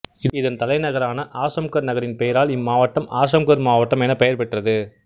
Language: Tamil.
இதன் தலைநகரான ஆசம்கர் நகரின் பெயரால் இம்மாவட்டம் ஆசம்கர் மாவட்டம் எனப் பெயர்பெற்றது